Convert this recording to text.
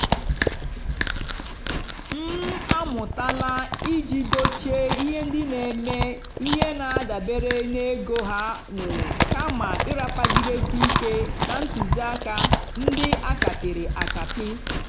m amụ́tálá ìjì dòchíé íhé ndí nà-èmè íhé nà-àdàbérè n'égó há nwèrè kàmà ị́ràpagìdésì íké nà ntụ́zìákà ndí á kàpị́rị́ àkàpị́.